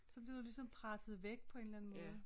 Så bliver du ligesom presset væk på en eller anden måde